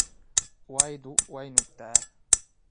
Waydu waa nuugtaa.